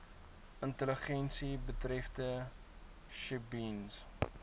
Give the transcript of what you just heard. intelligensie betreffende sjebiens